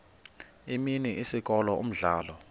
imini isikolo umdlalo